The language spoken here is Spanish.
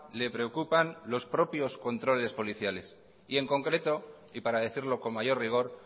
le preocupan los propios controles policiales y en concreto y para decirlo con mayor rigor